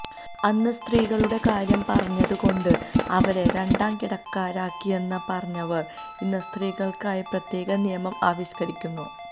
അന്ന് സ്ത്രീകളുടെ കാര്യം പറഞ്ഞത് കൊണ്ട് അവരെ രണ്ടാം കിടക്കാരാക്കി എന്ന് പറഞ്ഞവര് ഇന്ന സ്ത്രീകള്ക്കായി പ്രത്യേകം നിയമം ആവിഷ്കരിക്കുന്നു